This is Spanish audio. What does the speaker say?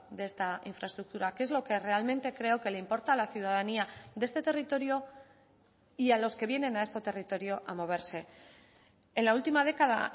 de esta infraestructura que es lo que realmente creo que le importa a la ciudadanía de este territorio y a los que vienen a este territorio a moverse en la última década